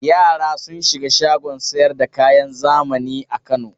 Yara sun shiga shagon sayar da kayan zamani a Kano.